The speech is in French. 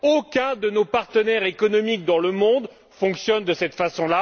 Aucun de nos partenaires économiques dans le monde ne fonctionne de cette façon.